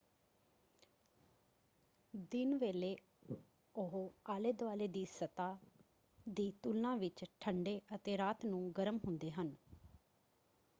"ਦਿਨ ਵੇਲੇ ਉਹ ਆਲੇ ਦੁਆਲੇ ਦੀ ਸਤਹ ਦੀ ਤੁਲਨਾ ਵਿੱਚ ਠੰਡੇ ਅਤੇ ਰਾਤ ਨੂੰ ਗਰਮ ਹੁੰਦੇ ਹਨ।